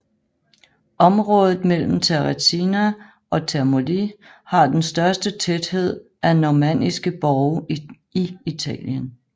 Området mellem Terracina og Termoli har den største tæthed af normanniske borge i Italien